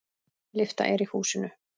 Lyfta er í húsinu.